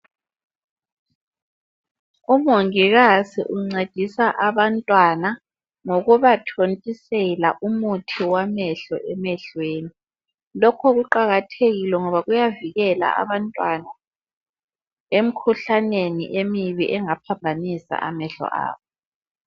Umongikazi uncedisa abantwana, ngokubathontisela umuthi wamehlo emehlweni. Lokho kuqakathekile ngoba kuyavikela abantwana, emkhuhlaneni emibi engaphambanisa amehlo abo.